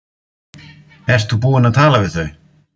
Ert þú búinn að tala við þau?